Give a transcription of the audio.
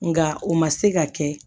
Nka o ma se ka kɛ